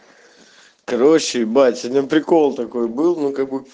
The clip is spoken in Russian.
короче бать один прикол такой был ну как бы